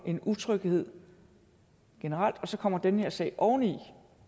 en utryghed generelt så kommer den her sag oveni